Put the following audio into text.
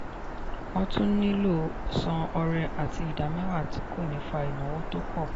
wọ́n tún nílò san ọrẹ àti ìdámẹ́wà tí kò ní fa ìnáwó tó pọ̀.